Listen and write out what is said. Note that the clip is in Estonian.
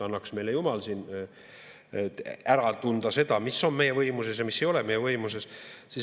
Annaks meile jumal ära tunda seda, mis on meie võimuses ja mis ei ole meie võimuses.